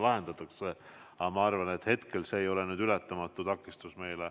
Aga ma arvan, et hetkel see ei ole meile ületamatu takistus.